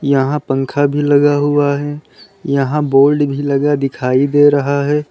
यहां पंखा भी लगा हुआ है यहां बोर्ड भी लगा दिखाई दे रहा है।